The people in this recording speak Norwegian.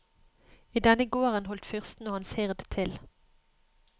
I denne gården holdt fyrsten og hans hird til.